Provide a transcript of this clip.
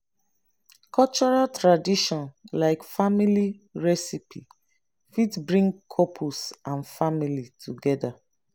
cultural tradition like family recipie fit bring couples and families together